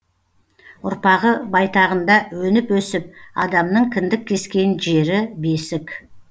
ұрпағы байтағында өніп өсіп адамның кіндік кескен жері бесік